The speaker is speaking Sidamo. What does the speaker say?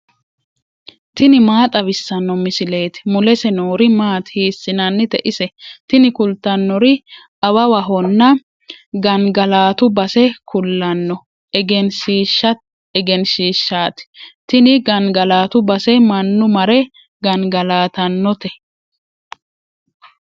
tini maa xawissanno misileeti ? mulese noori maati ? hiissinannite ise ? tini kultannori awawahonna gangalatu base kulanno egenshiishshaati. tini gangalatu base mannu mare gangalatannote.